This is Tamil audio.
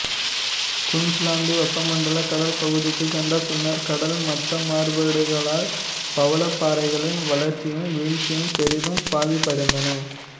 குயின்சுலாந்து வெப்பமண்டல கடல் பகுதிக்குச் சென்ற பின்னர் கடல் மட்ட மாறுபாடுகளால் பவழப்பாறைகளின் வளர்ச்சியும் வீழ்ச்சியும் பெரிதும் பாதிப்படைந்தன